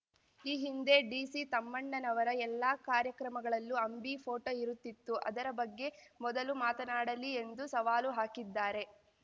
ಈ ಹಿಂದೆ ಡಿಸಿ ತಮ್ಮಣ್ಣನವರ ಎಲ್ಲ ಕಾರ್ಯಕ್ರಮಗಳಲ್ಲೂ ಅಂಬಿ ಫೋಟೋ ಇರುತ್ತಿತ್ತು ಅದರ ಬಗ್ಗೆ ಮೊದಲು ಮಾತನಾಡಲಿ ಎಂದು ಸವಾಲು ಹಾಕಿದ್ದಾರೆ